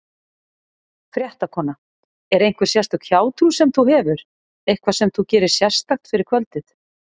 Fréttakona: Er einhver sérstök hjátrú sem þú hefur, eitthvað sem þú gerir sérstakt fyrir kvöldið?